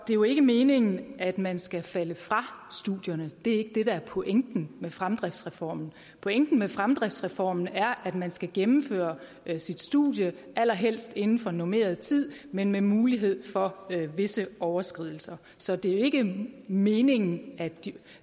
jo ikke meningen at man skal falde fra studierne det er ikke det der er pointen med fremdriftsreformen pointen med fremdriftsreformen er at man skal gennemføre sit studie allerhelst inden for normeret tid men med mulighed for visse overskridelser så det er ikke meningen at de